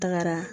Tagara